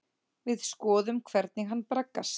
Við skoðum hvernig hann braggast.